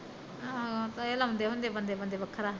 ਆਹੋ ਕਈ ਲਾਉਂਦੇ ਹੁੰਦੇ ਬੰਦੇ ਵਖਰਾ ਵਖਰਾ